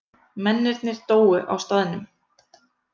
Mennirnir dóu á staðnum